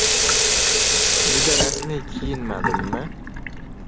Juda rasmiy kiyinmadimmi?